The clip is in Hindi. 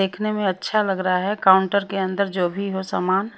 देखने में अच्छा लग रहा है काउंटर के अंदर जो भी हो सामान --